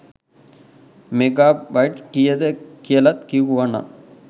mega bite කීයද කියලත් කිව්වනං